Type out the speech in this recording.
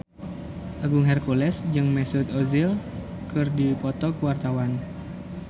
Agung Hercules jeung Mesut Ozil keur dipoto ku wartawan